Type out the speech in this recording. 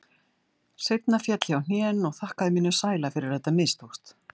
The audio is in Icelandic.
Seinna féll ég á hnén og þakkaði mínum sæla fyrir að þetta mistókst.